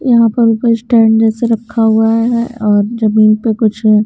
यहां पर कोई स्टैंड जैसे रखा हुआ है और जमीन पर कुछ--